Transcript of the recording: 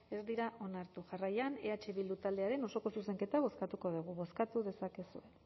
ez dira onartu jarraian eh bildu taldearen osoko zuzenketa bozkatuko dugu bozkatu dezakezue